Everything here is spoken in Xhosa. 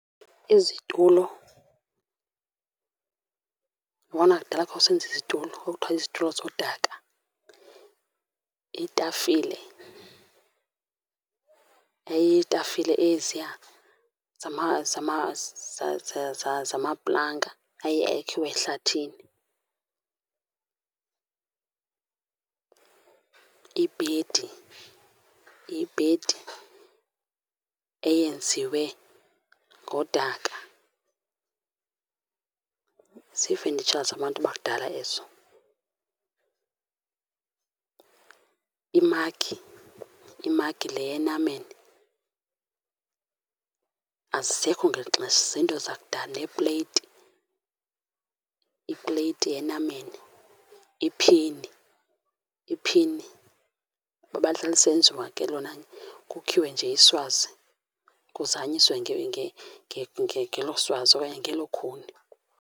Izitulo. Yabona kudala ka usenza izitulo, kwakuthiwa izitulo zodaka. Itafile yayiyitafile eziya zamaplanga aye akhiwe ehlathini. Ibhedi, iyibhedi eyenziwe ngodaka. Ziifenitsha zabantu bakudala ezo. Imagi, imagi le yenameni, azisekho ngeli xesha, ziinto zakudala neepleyiti, ipleyiti yenameni. Iphini, iphini ngoba lihlala lisenziwa ke lona, kukhiwe nje iswazi kuzanyiswe ngelo swazi okanye ngelo khuni.